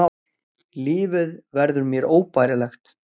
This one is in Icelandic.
Lífið verður mér óbærilegt.